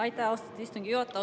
Aitäh, austatud istungi juhataja!